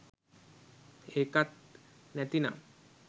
ඒකත් නැති නම්